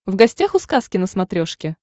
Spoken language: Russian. в гостях у сказки на смотрешке